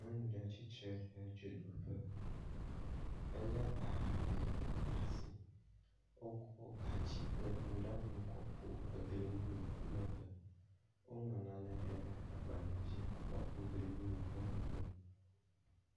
Nyɔnu ɖe tsi tre ɖe dzodoƒe, elé aha ɖe asi. Wokɔ gatsi kple nuɖanuwo kɔ ku egli ŋu le emegbe. Woŋlɔ nane ɖe agbalẽ dzi hã kɔ ku gli ŋu le emegbe